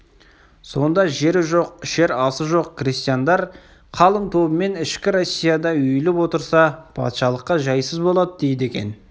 сонда жері жоқ ішер асы жоқ крестьяндар қалың тобымен ішкі россияда үйіліп отырса патшалыққа жайсыз болады дейді екен